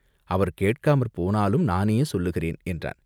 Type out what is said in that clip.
அவர் கேட்காமற் போனாலும் நானே சொல்லுகிறேன், என்றான்.